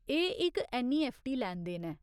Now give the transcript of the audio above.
एह् इक ऐन्नईऐफ्फटी लैनदेन ऐ।